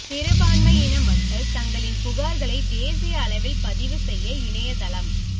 சிறுபான்மையின மக்கள் தங்களின் புகாா்களை தேசிய அளவில் பதிவு செய்ய இணையதளம்